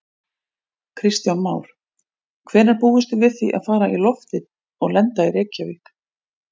Kristján Már: Hvenær búist þið við því að fara í loftið og lenda í Reykjavík?